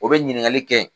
O bɛ ɲininkali kɛ